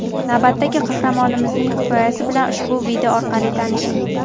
Navbatdagi qahramonimizning hikoyasi bilan ushbu video orqali tanishing.